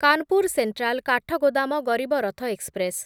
Kanpur central Kathgodam Garib Rath express